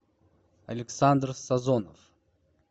александр сазонов